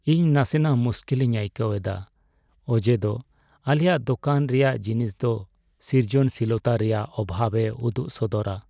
ᱤᱧ ᱱᱟᱥᱮᱱᱟᱜ ᱢᱩᱥᱠᱤᱞᱤᱧ ᱟᱹᱭᱠᱟᱹᱣ ᱮᱫᱟ ᱚᱡᱮᱫᱚ ᱟᱞᱮᱭᱟᱜ ᱫᱳᱠᱟᱱ ᱨᱮᱭᱟᱜ ᱡᱤᱱᱤᱥ ᱫᱚ ᱥᱨᱤᱡᱚᱱᱥᱤᱞᱚᱛᱟ ᱨᱮᱭᱟᱜ ᱚᱵᱷᱟᱵᱽ ᱮ ᱩᱫᱩᱜ ᱥᱚᱫᱚᱨᱼᱟ ᱾